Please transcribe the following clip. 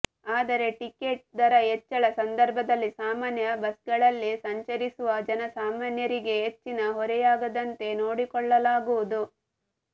ಆದರೆ ಟಿಕೆಟ್ ದರ ಹೆಚ್ಚಳ ಸಂದರ್ಭದಲ್ಲಿ ಸಾಮಾನ್ಯ ಬಸ್ಗಳಲ್ಲಿ ಸಂಚರಿಸುವ ಜನಸಾಮಾನ್ಯರಿಗೆ ಹೆಚ್ಚಿನ ಹೊರೆಯಾಗದಂತೆ ನೋಡಿಕೊಳ್ಳಲಾಗುವುದು